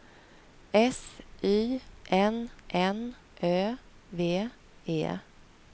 S Y N N Ö V E